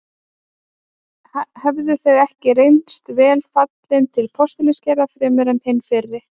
Hefðu þau ekki reynst vel fallin til postulínsgerðar fremur en hin fyrri.